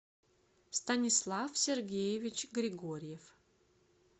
станислав сергеевич григорьев